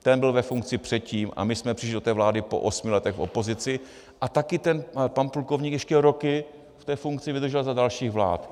Ten byl ve funkci předtím a my jsme přišli do té vlády po osmi letech v opozici a taky ten pan plukovník ještě roky v té funkci vydržel za dalších vlád.